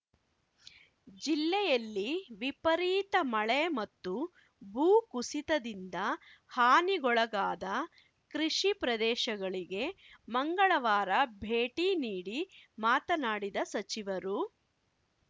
ಜಿಲ್ಲೆಯಲ್ಲಿ ವಿಪರೀತ ಮಳೆ ಮತ್ತು ಭೂಕುಸಿತದಿಂದ ಹಾನಿಗೊಳಗಾದ ಕೃಷಿ ಪ್ರದೇಶಗಳಿಗೆ ಮಂಗಳವಾರ ಭೇಟಿ ನೀಡಿ ಮಾತನಾಡಿದ ಸಚಿವರು